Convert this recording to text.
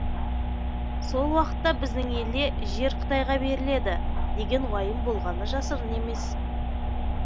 сол уақытта біздің елде жер қытайға беріледі деген уайым болғаны жасырын емес